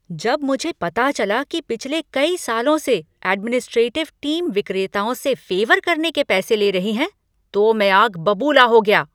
जब मुझे पता चला कि पिछले कई सालों से एडमिनिस्ट्रेटिव टीम विक्रेताओं से फ़ेवर करने के पैसे ले रही है तो मैं आग बबूला हो गया।